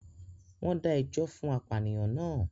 Wón dá ẹjọ́ fún apànìyàn naa